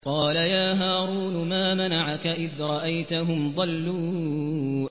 قَالَ يَا هَارُونُ مَا مَنَعَكَ إِذْ رَأَيْتَهُمْ ضَلُّوا